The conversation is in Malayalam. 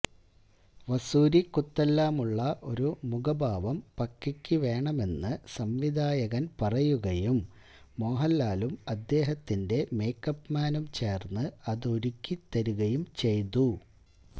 വസൂരിക്കുത്തെല്ലാമുള്ള ഒരു മുഖഭാവം പക്കിക്ക് വേണമെന്ന് സംവിധായകൻ പറയുകയും മോഹൻലാലും അദ്ദേഹത്തിന്റെ മേക്കപ്പ്മാനും ചേർന്ന് അതൊരുക്കി തരികയും ചെയ്തു